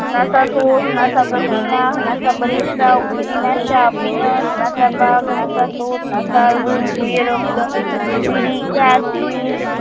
નાસાકોશ નાસાપ્રતિના નાસાપરિસત્રાવ પ્રતિના સાપીનસ નાસાપાક નાસાકોસ નાસાબુધકુર્ય રક્ત પીડિત